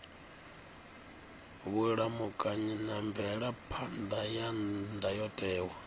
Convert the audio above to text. vhulamukanyi na mvelaphan ḓa ya ndayotewa